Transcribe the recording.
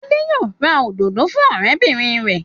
Adé yóò ra òdòdó fún ọ̀rẹ́bìnrin rẹ̀.